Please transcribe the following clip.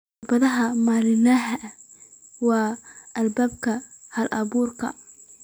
Caqabadaha maalinlaha ahi waa albaabka hal-abuurka.